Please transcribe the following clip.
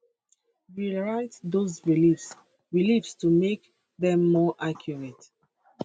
rewrite those beliefs beliefs to make dem more accurate